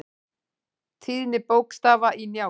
Tíðni bókstafa í Njálu.